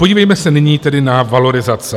Podívejme se nyní tedy na valorizace.